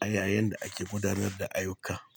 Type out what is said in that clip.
a yayin da ake gudanar da ayuka.